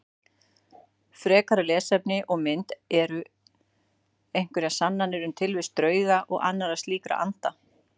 Frekara lesefni og mynd Eru einhverjar sannanir um tilvist drauga og annarra slíkra anda?